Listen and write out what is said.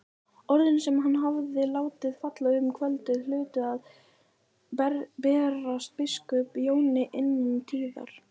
Orðin sem hann hafði látið falla um kvöldið hlutu að berast biskup Jóni innan tíðar.